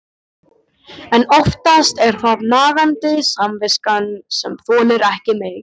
En oftast er það nagandi samviskan sem þolir ekki meir.